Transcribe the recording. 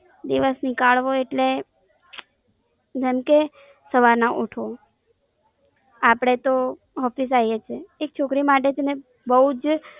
દિવસ નીકળવો એટલે, જેમ કે સવારના ઉઠો, અપડેતો Office આવીએ છીએ, એક છોકરી માટે છેને બોવ જ